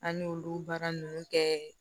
An y'olu baara ninnu kɛ